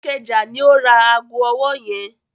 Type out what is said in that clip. Ìkẹjà ní ó ra ago ọwọ́ yẹn.